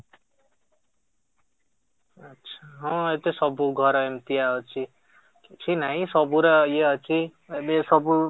ଆଛା, ହଁ ସବୁ ଘରେ ଏମିତିଆ ଅଛି, କିଛି ନାହିଁ ସବୁ ର ଇଏ ଅଛି ହେଲେ ସବୁ